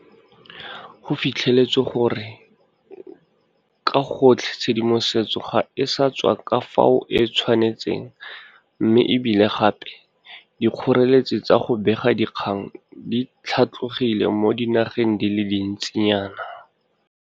Go fitlhetswe gore ka gotlhe tshedimosetso ga e sa tswa ka fao e tshwanetseng mme e bile gape dikgoreletsi tsa go bega dikgang di tlhatlogile mo dinageng di le dintsi nyana.